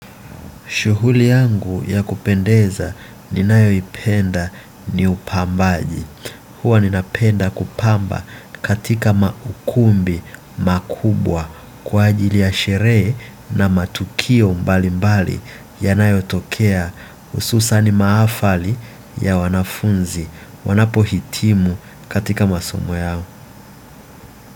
Shughuli yangu ya kupendeza ninayoipenda ni upambaji. Huwa ninapenda kupamba katika maukumbi makubwa kwa ajili ya sherehe na matukio mbali mbali yanayotokea hususan mahafali ya wanafunzi wanapohitimu katika masomo yao.